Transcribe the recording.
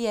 06:40: